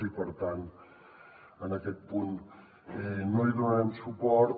i per tant en aquest punt no hi donarem suport